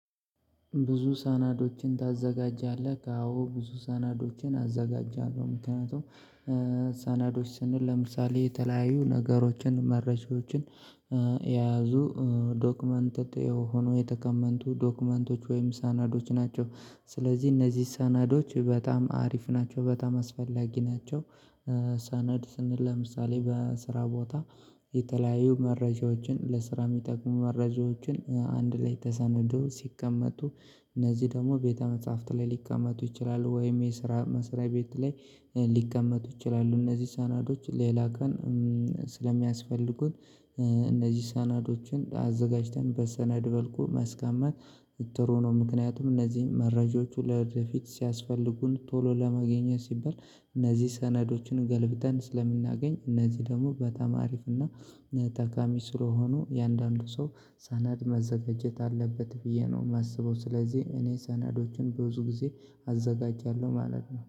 ብዙ ሰነዶችን ታዘጋጃለህ? አዎ ብዙ ሰነዶችን አዘጋጃለሁ። ምክንያቱም ሰነዶች ስንል ለምሳሌ የተለያዩ ነገሮችን መረጃዎችን የያዙ ዶክመንት ሆኖ የተቀመጡ ዶክመንቶች ወይም ሰነዶች ናቸው። ስለዚህ እነዚህ ሰነዶች በጣም አሪፍ ናቸው በጣም አስፈላጊ ናቸው። ሰነድ ስንል ለምሳሌ በስራ ቦታ የተለያዩ መረጃዎችን ለስራ የሚጠቁሙ መረጃዎችን አንድ ላይ ተሰናድቶ ሲቀመጡ እነዚህ ደግሞ ቤተ መጽሐፍት ላይ ሊቀመጡ ይችላሉ ወይም የስራ መስሪያ ቤት ላይ ሊቀመጡ ይችላሉ። እነዚህ ሰነዶች ሌላ ቀን ስለሚያስፈልጉን እነዚህ ሰናዶችን አዘጋጅተን በሰነድ መልኩ ማስቀመጥ ጥሩ ነው። ምክንያቱም እነዚህን መረጃዎቹ ወደፊት ሲያስፈልጉን ቶሎ ለማግኘት ሲባል እነዚህ ሰነዶችን ገልብጠን ስለምናገኝ እነዚህ ደግሞ በጣም አሪፍና ጠቃሚ ስለሆኑ እያንዳንዱ ሰው ሰነድ ማዘጋጀት አለበት ብዬ ነው የማስበው። ስለዚህ እኔ ሰነዶችን በብዙ ጊዜ አዘጋጃለሁ ማለት ነው